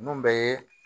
Ninnu bɛɛ ye